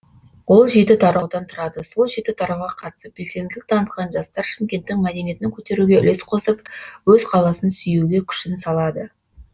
ол жеті тараудан тұрады сол жеті тарауға қатысып белсенділік танытқан жастар шымкенттің мәдинетін көтеруге үлес қосып өз қаласын сүюге күшін салады